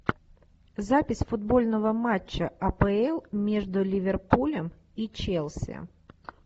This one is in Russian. запись футбольного матча апл между ливерпулем и челси